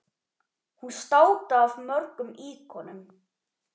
Hún státaði af mörgum íkonum.